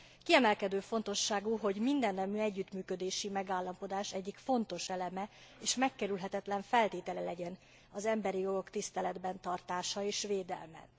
Kiemelkedő fontosságú, hogy mindennemű együttműködési megállapodás egyik fontos eleme és megkerülhetetlen feltétele legyen az emberi jogok tiszteletben tartása és védelme.